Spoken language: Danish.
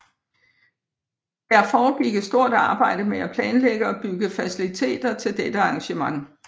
Der foregik et stort arbejde med at planlægge og bygge faciliteter til dette arrangement